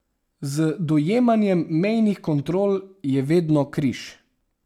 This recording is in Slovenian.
Z dojemanjem mejnih kontrol je vedno križ.